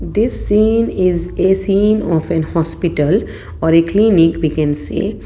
this scene is a scene of an hospital or a clinic we can say.